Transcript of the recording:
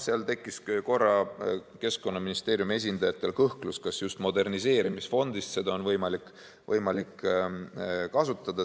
Seal tekkis korra Keskkonnaministeeriumi esindajatel kõhklus, kas just moderniseerimisfondist seda on võimalik kasutada.